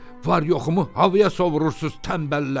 Var-yoxumu havaya sovrursunuz, tənbəllər!